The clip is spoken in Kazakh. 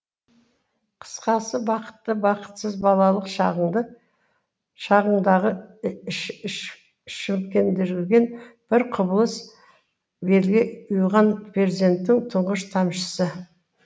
қысқасы бақытты бақытсыз балалық шағыңдағы шімкенді жүрген бір құбылыс белге ұйыған перзенттің тұңғыш тамшысы